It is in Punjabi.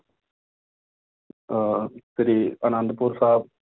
ਅਹ ਸ੍ਰੀ ਆਨੰਦਪੁਰ ਸਾਹਿਬ